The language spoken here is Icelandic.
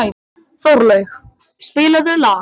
Þorlaug, spilaðu lag.